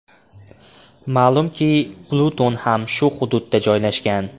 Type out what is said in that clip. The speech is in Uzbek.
Ma’lumki, Pluton ham shu hududda joylashgan.